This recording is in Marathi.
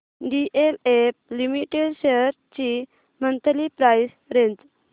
डीएलएफ लिमिटेड शेअर्स ची मंथली प्राइस रेंज